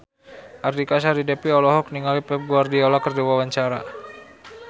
Artika Sari Devi olohok ningali Pep Guardiola keur diwawancara